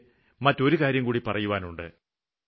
എനിയ്ക്ക് മറ്റൊരു കാര്യംകൂടി പറയുവാനുണ്ട്